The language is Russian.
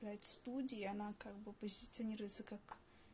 студия она как бы позиционируется как